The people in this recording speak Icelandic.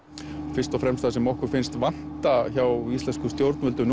fyrst og fremst það sem okkur finnst vanta hjá íslenskum stjórnvöldum